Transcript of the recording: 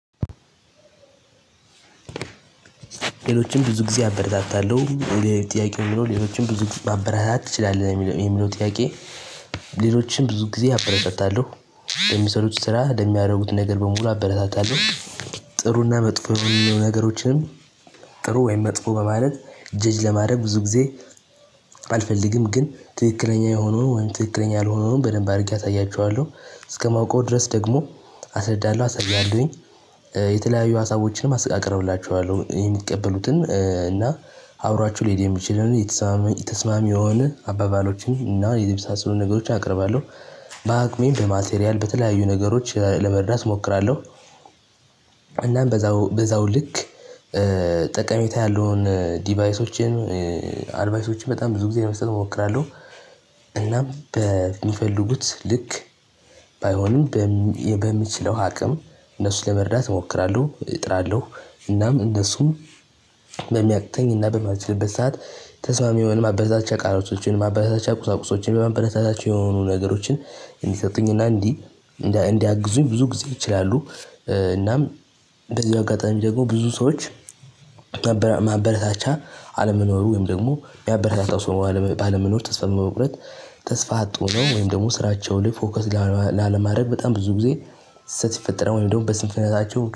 ሌሎችን ብዙ ጊዜ አበረታታለሁ። ጥያቄው የሚለው ሌሎችን ብዙ ጊዜ ማበረታታት ትችላለህ? የሚለ የሚለው ጥያቄ ሌሎችን ብዙ ጊዜ አበረታታለው። የሚሰሩት ስራ ለሚያደርጉት ነገር በሙሉ አበረታታለሁ። ጥሩና መጥፎ የሚለው ነገሮችንም ጥሩ ወይም መጥፎ በማለት ጀጅ ለማድረግ ብዙ ጊዜ አልፈልግም። ግን ትክክለኛ የሆነውን ትክክለኛ ያልሆነውን በደንብ አድርጌ አሳያቸዋለሁ። እስከማውቀው ድረስ ደግሞ አሰረዳለሁ አሳያለሁኝ። የተለያዩ ሀሳቦችንም አስ አቀርብላችኋለሁ። የሚቀበሉትን እና አብሯቸው ሊሄድ የሚችልን የተስማማ ተስማሚ የሆነ አባባሎችን እና የመሳሰሉ ነገሮችን አቀርባለሁ። በአቅሜ በማቴሪያል በተለያዩ ነገሮች ለመርዳት እሞክራለሁ። እናም በዛው በዛው ልክ ጠቀሜታ ያለውን ዲቫይሶችን አድቫይሶችን በጣም ብዙ ጊዜ ለመስጠት እሞክራለሁ። እናም በሚፈልጉት ልክ ባይሆንም በም በምችለው አቅም እነሱን ለመርዳት እሞክራለሁ እጥራለሁ። እናም እነሱም በሚያቅተኝ እና በማልችልበት ሰዓት ተስማሚ የሆኑ ማበረታቻ ቃላቶችን ማበረታቻ ቁሳቁሶችን አበረታች የሆኑ ነገሮችን እንዲሰጡኝና እንዲህ እንዲያግዙኝ ብዙ ጊዜ ይችላሉ እናም በዚህ አጋጣሚ ደግሞ ብዙ ሰዎች ማበራ ማበረታቻ አለመኖሩ ወይም ደግሞ የሚያበረታታው ሰው ባለመ ባለመኖር ተስፋ በመቁረጥ ተስፋ አጥቶ ነው ወይም ደግሞ ስራቸውን ፎከስ ላለማድረግ በጣም ብዙ ጊዜ ስህተት ሲፈጠር ወይም ደግሞ በስንፍንነታቸው